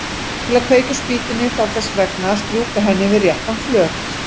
Til að kveikja á spýtunni þarf þess vegna að strjúka henni við réttan flöt.